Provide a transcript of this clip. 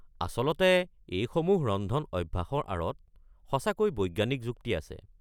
আচলতে এইসমূহ ৰন্ধন অভ্যাসৰ আঁৰত সঁচাকৈ বৈজ্ঞানিক যুক্তি আছে।